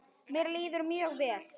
Mér líður mjög vel.